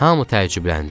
Hamı təəccübləndi.